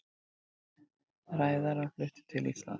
Ræðarar fluttir til Íslands